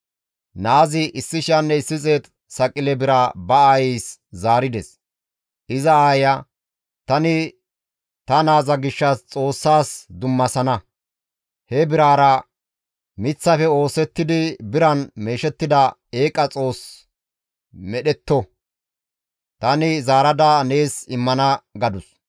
Naazi 1,100 saqile bira ba aayeys zaarides; iza aayeya, «Tani ta naaza gishshas Xoossas dummasana; he biraara miththafe oosettidi biran meeshettida eeqa xoos medhdhetto; tani zaarada nees immana» gadus.